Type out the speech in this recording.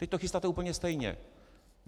Teď to chystáte úplně stejně.